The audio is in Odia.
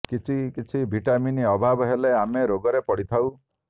କିଛି କିଛି ଭିଟାମିନ୍ ଅଭାବ ହେଲେ ଆମେ ରୋଗରେ ପଡ଼ିଥାଉ